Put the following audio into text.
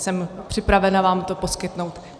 Jsem připravena vám to poskytnout.